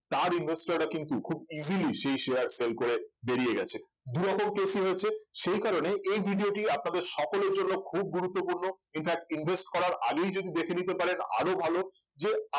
তার investor রা কিন্তু খুব easily সেই share fail করে বেরিয়ে গেছে দুরকম case ই হয়েছে সেই কারণে এই video টি আপনাদের সকলের জন্য খুব গুরুত্বপূর্ণ infact invest করার আগেই যদি দেখে নিতে পারেন আরো ভালো যে